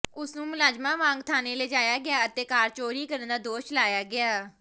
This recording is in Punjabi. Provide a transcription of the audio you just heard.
ਉਸਨੂੰ ਮੁਲਜ਼ਮਾਂ ਵਾਂਗ ਥਾਣੇ ਲਿਜਾਇਆ ਗਿਆ ਅਤੇ ਕਾਰ ਚੋਰੀ ਕਰਨ ਦਾ ਦੋਸ਼ ਲਾਇਆ ਗਿਆ